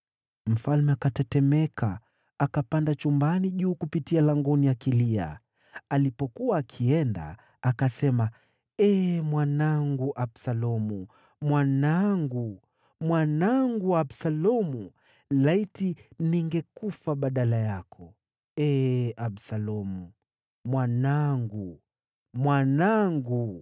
Mfalme akatetemeka. Akapanda chumbani juu kupitia langoni akilia. Alipokuwa akienda, akasema, “Ee mwanangu Absalomu! Mwanangu, mwanangu Absalomu! Laiti ningekufa badala yako: Ee Absalomu, mwanangu, mwanangu!”